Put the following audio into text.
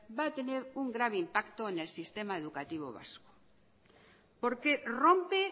va a tener un grave impacto en el sistema educativo vasco porque rompe